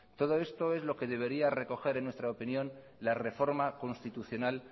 todo esto es lo que debería recoger en nuestra opinión la reforma constitucional